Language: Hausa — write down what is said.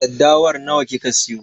Daddawar nawa kika siyo?